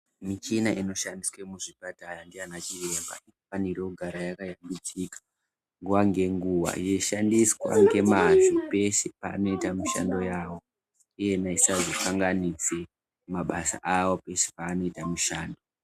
Michina inoshandiswe muzvipatara ndana chiremba inofana kugara yakashambidzika nguwa ngenguwa yeishandiswa ngemwazvo pese paaanoita mishando yavo iyena isazokanganise mabasa awo pese panoite mishando